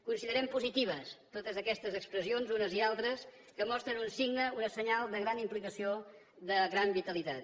considerem positives totes aquestes expressions unes i altres que mostren un signe un senyal de gran implicació de gran vitalitat